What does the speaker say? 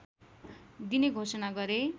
दिने घोषणा गरे